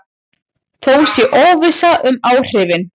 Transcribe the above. Þó sé óvissa um áhrifin.